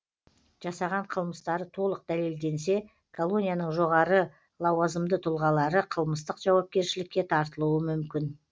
жасаған қылмыстары толық дәлелденсе колонияның жоғары лауазымды тұлғалары қылмыстық жауапкершілікке тартылуы мүмкін